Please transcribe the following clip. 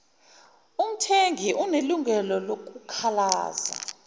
umthengi unelungelo lokukhalaza